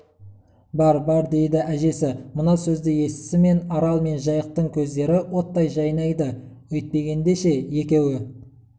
бар бар дейді әжесі мына сөзді естісімен арал мен жайықтың көздері оттай жайнады өйтпегенде ше екеуі